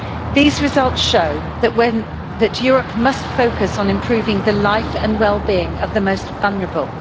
These results show that Europe must focus on improving the lives and well-being of the most vulnerable.